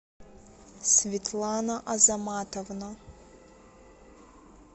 светлана азаматовна